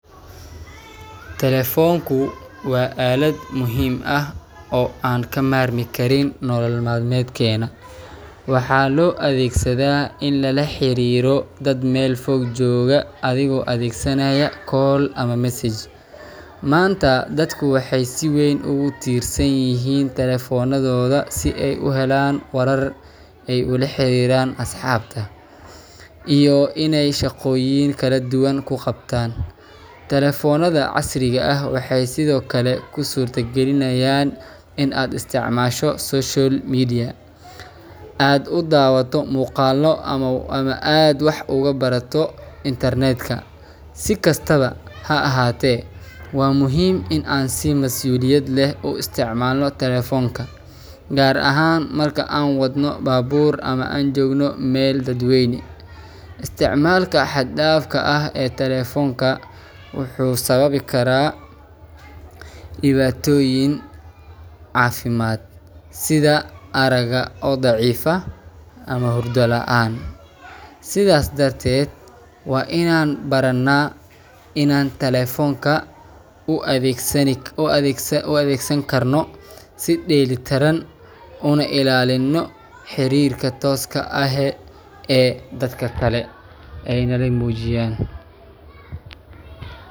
talephone wa alad muxiim ah o an kamarmi kariin o nolol balmadkena, waxa loadegsada in lalahariro dad mel foog jogaa adhigo adegsanayo call ama message manta dadku waxay si weyn ogutirsanyixiin talephone si ay uhelan warar ay olahariran ashabta iyo inay shagoyin kaladuwan kagabtan, talephone casriga ah waxay Sidhokale usurta galinayan in aad isticmasho social media aad udawato mugaalo ama aad wah ogubarato internet si kastawa haahate cwa muxiim in aan si masuliyad leh uisticmalno talephonka, gaar aha marka aan wadno babuur ama an jogno meel dad weyn, isticmalka had dafka ah ee talephonka wuxu sababi kara, diwatoyin cafimad sida araga oo dacifa, ama horda laan sidas darted wa inan barana inan talephonka uadegsan karno si deli tiraan una ilalino ee dadka kale, ee nalamujiyan.